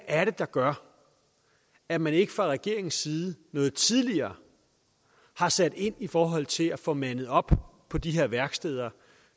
er der gør at man ikke fra regeringens side noget tidligere har sat ind i forhold til at få mandet op på de her værksteder